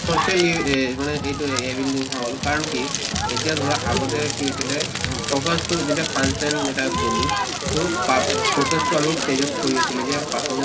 socially এহ মানে এইটো হʼল কাৰণ কি এতিয়া ধৰা আগতে কি হৈছিলে উম focus তো যেতিয়া function এটাত গʼলো তʼ পাব focus তো আমি stage কৰি আছিলোঁ যে performance